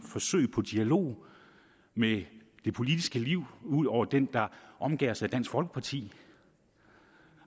forsøg på dialog med det politiske liv ud over den der omgærdes af dansk folkeparti